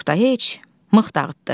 Oqtay, heç, mıx dağıtdı.